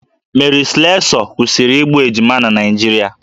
Mary Slessor kwụsịrị igbu ejima na Naịjirịa